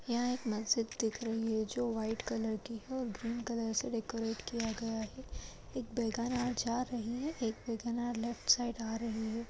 यहाँ एक मस्जिद दिख रही है जो व्हाइट कलर की है और ग्रीन कलर से डेकोरेट किया गया है एक बेगानार जा रही है एक बेगानार लेफ्ट साइड आ रही है।